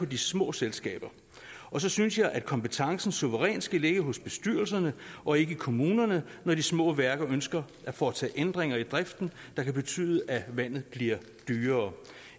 de små selskaber og så synes jeg at kompetencen suverænt skal ligge hos bestyrelserne og ikke i kommunerne når de små værker ønsker at foretage ændringer i driften der kan betyde at vandet bliver dyrere